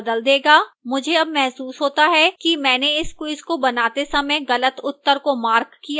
मुझे अब महसूस होता है कि मैंने इस quiz को बनाते समय गलत उत्तर को marked किया था